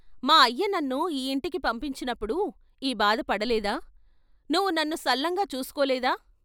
మా అయ్య నన్ను ఈ ఇంటికి పంపించినప్పుడు ఈ బాధపడలేదా నువ్వు నన్ను సల్లంగా చూసుకోలేదా?